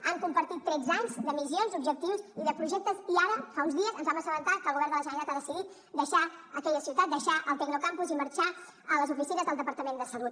han compartit tretze anys de missions objectius i de projectes i ara fa uns dies ens vam assabentar que el govern de la generalitat ha decidit deixar aquella ciutat deixar el tecnocampus i marxar a les oficines del departament de salut